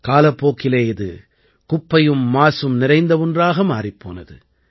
காலப்போக்கிலே இது குப்பையும் மாசும் நிறைந்த ஒன்றாக மாறிப் போனது